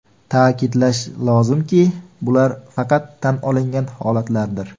Ta’kidlash lozimki, bular faqat tan olingan holatlardir.